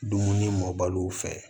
Dumuni mɔbaliw fɛ